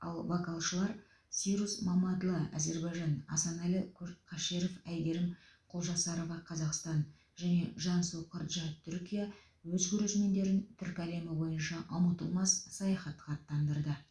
ал вокалшылар сируз мамадлы әзербайжан асаналы кө қашеров әйгерім құлжарасова қазақстан және жансу кырджа түркия өз көрермендерін түркі әлемі бойынша ұмытылмас саяхатқа аттандырды